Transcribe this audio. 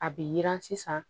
A bɛ yi yiran sisan